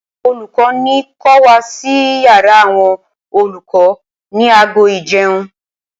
Olùkọ́ ní ko wá sí yàrá àwọn olùkọ ní aago ìjẹun.